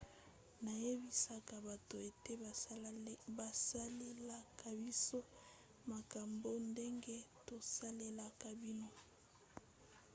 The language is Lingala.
nayebisaka bato ete bosalelaka biso makambo ndenge tosalelaka bino